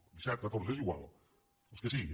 disset catorze és igual els que siguin